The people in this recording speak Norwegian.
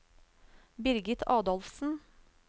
Birgit Adolfsen